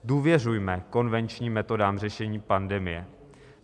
Důvěřujme konvenčním metodám řešení pandemie.